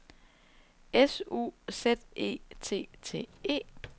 S U Z E T T E